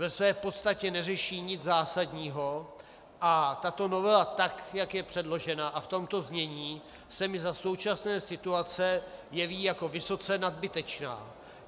Ve své podstatě neřeší nic zásadního a tato novela, tak jak je předložena a v tomto znění, se mi za současné situace jeví jako vysoce nadbytečná.